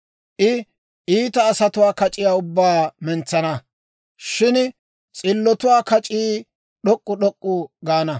I iita asatuwaa kac'iyaa ubbaa mentsana, shin s'illotuwaa kac'ii d'ok'k'u d'ok'k'u gaana.